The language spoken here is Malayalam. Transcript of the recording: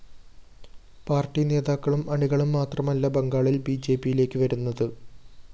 പാര്‍ട്ടി നേതാക്കളും അണികളും മാത്രമല്ല ബംഗാളില്‍ ബിജെപിയിലേക്ക് വരുന്നത്